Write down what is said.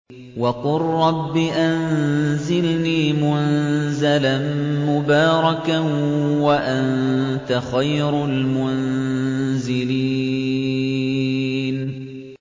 وَقُل رَّبِّ أَنزِلْنِي مُنزَلًا مُّبَارَكًا وَأَنتَ خَيْرُ الْمُنزِلِينَ